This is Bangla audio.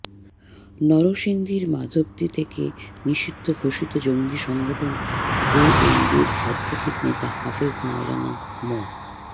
নরসিংদীর মাধবদী থেকে নিষিদ্ধ ঘোষিত জঙ্গি সংগঠন জেএমবির আধ্যাত্মিক নেতা হাফেজ মাওলানা মো